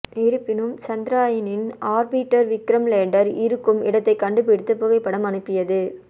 இருப்பினும் சந்திராயனின் orbiter Vikram lander இருக்கும் இடத்தை கண்டுபிடித்து புகைப்படம் அனுப்பியது